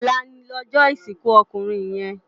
Òlá lòjò isinkú òkúnrin yèn